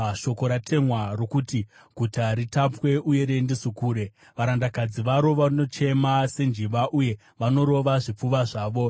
Shoko ratemwa rokuti guta ritapwe, uye riendeswe kure. Varandakadzi varo vanochema senjiva uye vanorova zvipfuva zvavo.